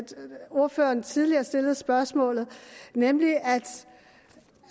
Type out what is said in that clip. ordføreren tidligere stillede spørgsmålet vil